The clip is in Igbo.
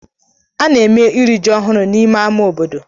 A na-eme iri ji ọhụrụ n'ime ámá obodo.